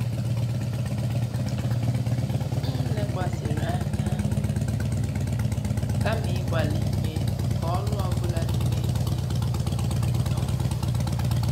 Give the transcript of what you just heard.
M lekwasịrị anya na ụkpụrụ m kama ịgbalị ime ka olu ọ bụla dị n'èzí nwee obi ụtọ.